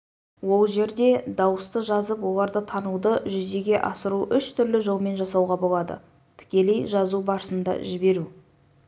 ол жерде дауысты жазып оларды тануды жүзеге асыру үш түрлі жолмен жасауға болады тікелей жазу барысында жіберу